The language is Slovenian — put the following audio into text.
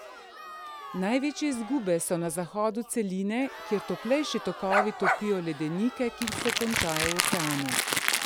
Največje izgube so na zahodu celine, kjer toplejši tokovi topijo ledenike, ki se končajo v oceanu.